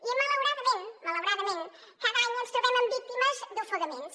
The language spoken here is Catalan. i malauradament malauradament cada any ens trobem amb víctimes d’ofegaments